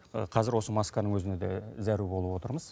иә қазір осы масканың өзіне де зәру болып отырмыз